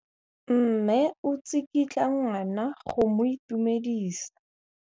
Mme o tsikitla ngwana go mo itumedisa.